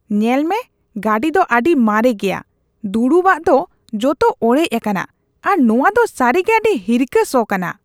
ᱧᱮᱞᱢᱮ ᱜᱟᱹᱰᱤ ᱫᱚ ᱟᱹᱰᱤ ᱢᱟᱨᱮ ᱜᱮᱭᱟ ᱾ ᱫᱩᱲᱩᱵᱼᱟᱜ ᱫᱚ ᱡᱚᱛᱚ ᱚᱲᱮᱡ ᱟᱠᱟᱱᱟ ᱟᱨ ᱱᱚᱣᱟ ᱫᱚ ᱥᱟᱹᱨᱤᱜᱮ ᱟᱹᱰᱤ ᱦᱤᱨᱠᱷᱟᱹ ᱥᱚ ᱠᱟᱱᱟ ᱾